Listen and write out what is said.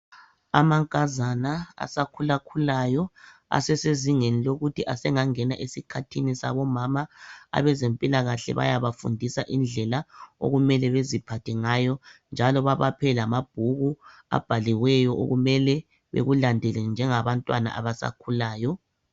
Amankazana asakhulakhulayo asesezingeni lokuthi asengangena esikhathini sabomama abezempilakahle bayabafundisa indlela okumele beziphathe ngayo njalo babaphe lamabhuku abhaliweyo okumele bekulandele njengabantwana abasakhulayo